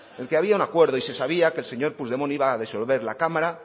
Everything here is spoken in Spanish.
el que había un acuerdo y se sabía que el señor puigdemont iba a disolver la cámara